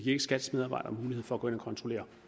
ikke skats medarbejdere mulighed for at gå ind og kontrollere